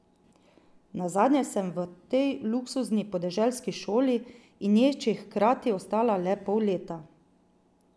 Nazadnje sem v tej luksuzni podeželski šoli in ječi hkrati ostala le pol leta.